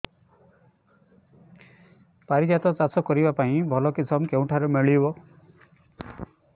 ପାରିଜାତ ଚାଷ କରିବା ପାଇଁ ଭଲ କିଶମ କେଉଁଠାରୁ ମିଳିବ